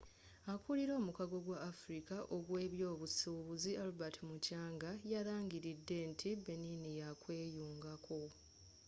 akulira omukago gw'afrika ogw'ebyobusuubuzi albert muchanga yalangiridde nti benin yakweyungako